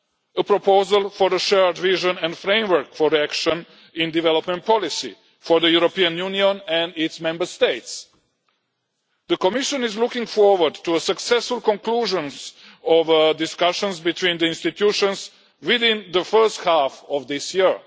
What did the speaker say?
A proposal for a shared vision and framework for action in development policy for the European Union and its Member States. The Commission is looking forward to a successful conclusion of the discussions between the institutions within the first half of this year.